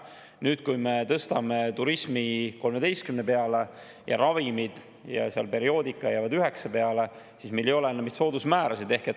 Nüüd, kui me tõstame turismis 13% peale ja ravimid ja perioodika jäävad 9% peale, siis meil ei ole soodusmääradeks.